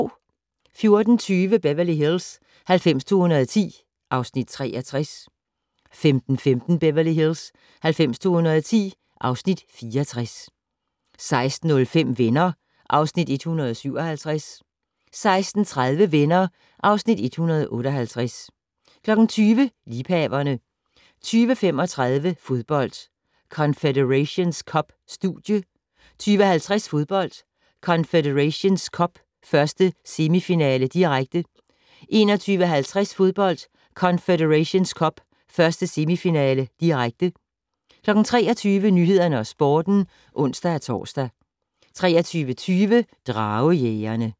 14:20: Beverly Hills 90210 (Afs. 63) 15:15: Beverly Hills 90210 (Afs. 64) 16:05: Venner (Afs. 157) 16:30: Venner (Afs. 158) 20:00: Liebhaverne 20:35: Fodbold: Confederations Cup - Studie 20:50: Fodbold: Confederations Cup - 1. semifinale, direkte 21:50: Fodbold: Confederations Cup - 1. semifinale, direkte 23:00: Nyhederne og Sporten (ons-tor) 23:20: Dragejægerne